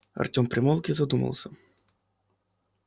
артем примолк и задумался